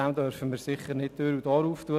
Dem dürfen wir nicht Tür und Tor öffnen.